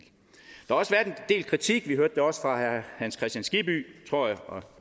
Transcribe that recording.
del kritik vi hørte det også fra herre hans kristian skibby tror jeg og